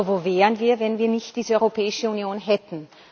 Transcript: Aber wo wären wir, wenn wir nicht diese Europäische Union hätten?